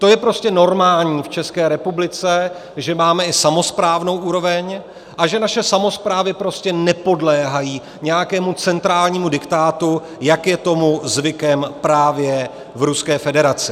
To je prostě normální v České republice, že máme i samosprávnou úroveň a že naše samosprávy prostě nepodléhají nějakému centrálnímu diktátu, jak je tomu zvykem právě v Ruské federaci.